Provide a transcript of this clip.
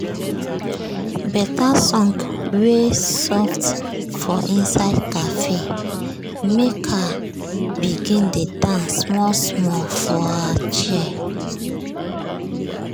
better song wey soft for inside cafe make her begin dey dance small small for her chair.